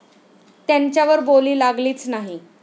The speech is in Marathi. त्यांच्यावर बोली लागलीच नाही.